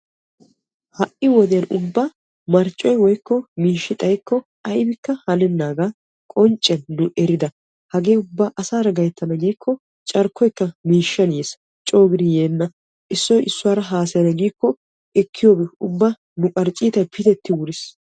Ha'i wodiyan marccoy woykko miishshi xayikko aybbikka haneenaga qoncciyan eridda ubba asaa gayttanna giikkokka marccuwa koshees. Ubba nu qarccitay piteetti wuriis.